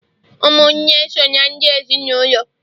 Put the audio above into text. ụmụnne so na ndị ezinụlọ